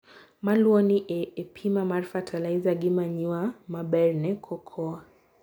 Maluoni e apima mar fertilize gi manure maber ne cocoa.